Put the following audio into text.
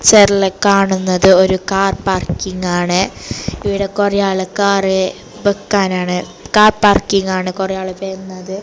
പിക്ചറിൽ കാണുന്നത് ഒരു കാർ പാർക്കിംഗ് ആണ് ഇവിടെ കുറെ ആൾക്കാറ് ബെക്കാനാണ് കാർ പാർക്കിംഗ് ആണ് കുറെ ആളു വരുന്നത്.